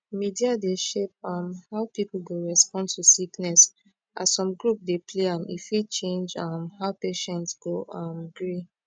media dey shape um how people go respond to sickness as some group dey play am e fit change um how patient go um gree